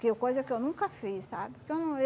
Que eu coisa que eu nunca fiz, sabe? Então